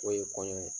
O ye kɔɲɔ ye